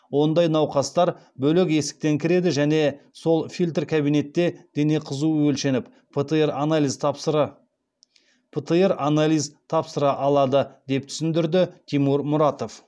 ондай науқастар бөлек есіктен кіреді және сол фильтр кабинетте дене қызуы өлшеніп птр анализ тапсыра алады деп түсіндірді тимур мұратов